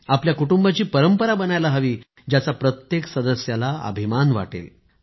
आपल्या कुटुंबाची परंपरा बनायला हवी ज्याचा प्रत्येक सदस्यांना अभिमान वाटेल